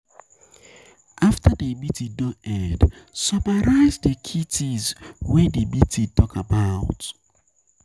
After di meeting don end, summarize di key things wey di meeting talk about